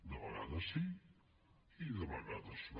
de vegades sí i de vegades no